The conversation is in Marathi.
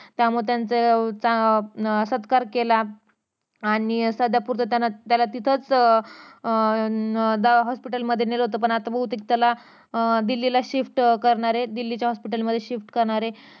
त्यामुळं त्यांचा उत्साहात अं सत्कार केला आणि सध्या पुरता त्यांना त्याला तिथंच अं hospital ला नेलं होत पण आता बहुतेक त्याला अं दिल्लीला shift करणार दिल्लीच्या hospital मध्ये shift करणार ये